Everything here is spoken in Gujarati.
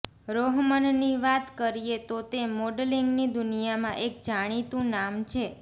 રોહમનની વાત કરીએ તો તે મોડલિંગની દુનિયામાં એક જાણીતું નામ છે